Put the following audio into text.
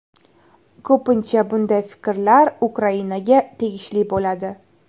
Ko‘pincha bunday fikrlar Ukrainaga tegishli bo‘ladi.